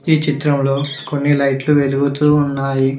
ఈ చిత్రంలో కొన్ని లైట్లు వెలుగుతూ ఉన్నాయి.